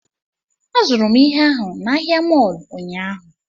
Azụrụ m ihe ahụ na ahịa mọọlụ ụnyaahụ